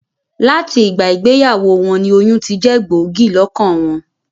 Làti ìgbà ìgbeyàwó won ni oyún tijé gbògí lókàn won